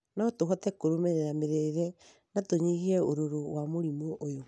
no tũhote kũrũmĩrĩra mĩrĩĩre na tunyihie ũrũrũ wa mũrimũ ũyũ